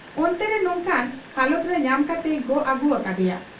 ᱚᱱᱛᱮᱨᱮ ᱱᱚᱝᱠᱟᱱ ᱦᱟᱞᱟᱛᱨᱮ ᱧᱟᱢ ᱠᱟᱛᱮᱭ ᱜᱚᱜ ᱟᱹᱜᱩ ᱟᱠᱟᱫ ᱮᱭᱟ ᱾'